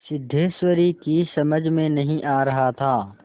सिद्धेश्वरी की समझ में नहीं आ रहा था